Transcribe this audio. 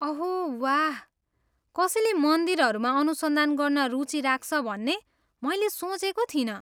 अहो वाह, कसैले मन्दिरहरूमा अनुसन्धान गर्न रुचि राख्छ भन्ने मैले सोचेको थिइनँ।